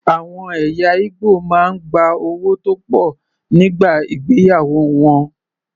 Àwọn ẹ̀yà Ìgbò máa ń gba owó tó pọ̀ nígbà ìgbéyàwó wọn.